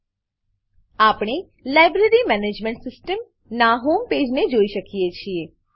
આપણે library management system library management system નાં home page home page ને જોઈ શકીએ છીએ